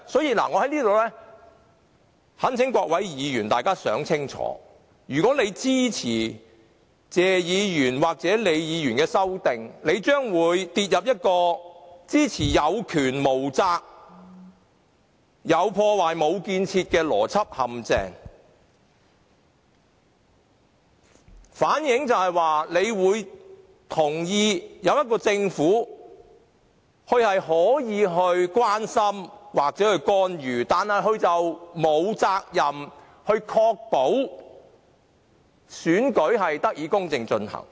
我在這裏懇請各位議員想清楚，他們若支持謝議員或李議員的修正案，將墮入一個支持有權無責，"有破壞，無建設"的政府的邏輯陷阱，反映出他們同意中央政府可以關心或干預特首選舉，但沒有責任確保選舉得以公正進行。